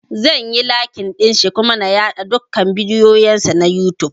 Zan yi lakin ɗinshi kuma na yaɗa dukan bidiyon sa na youtube